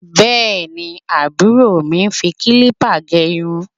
Bẹ́ẹ̀ni, àbúrò mi ń fi kílípà gẹ irun